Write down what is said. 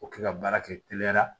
O kɛ ka baara kɛ teliya la